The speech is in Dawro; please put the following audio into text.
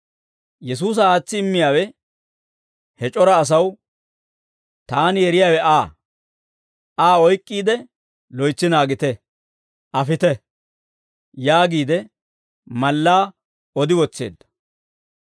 Yesuusa aatsi immiyaawe he c'ora asaw, «Taani yeriyaawe Aa; Aa oyk'k'iide loytsi naagiide, afite» yaagiide mallaa odi wotseedda.